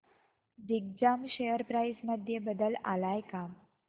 Digjam share price मध्ये बदल आलाय का